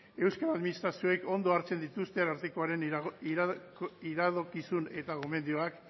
euskal administrazioek ondo hartzen dituzte arartekoaren iradokizun eta gomendioak